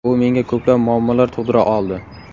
U menga ko‘plab muammolar tug‘dira oldi.